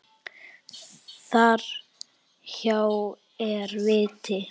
Þar hjá er viti.